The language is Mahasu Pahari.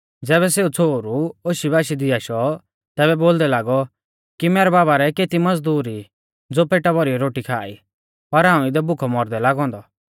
ज़ैबै सेऊ छ़ोहरु होशीबाशी दी आशौ तैबै बोलदै लागौ कि मैरै बाबा रै केती मज़दूर ई ज़ो पेटा भौरीयौ रोटी खा ई पर हाऊं इदै भुखौ मौरदै लागौ औन्दौ